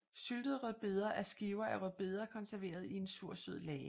Syltede rødbeder er skiver af rødbeder konserveret i en sursød lage